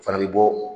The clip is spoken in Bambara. O fana bɛ bɔ